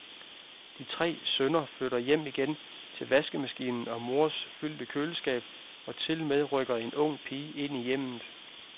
De tre sønner flytter hjem igen til vaskemaskinen og mors fyldte køleskab, og tilmed rykker en ung pige ind i hjemmet.